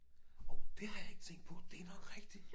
Orh det har jeg ikke tænkt på det nok rigtigt